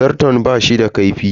Zarton bashi da kaifi.